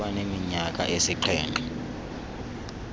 kuba neminyaka esixhenxe